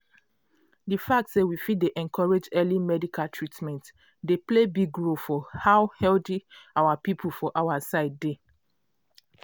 di fact say we fit dey encourage early medical treatment dey play big role for how healthy our people for our side dey.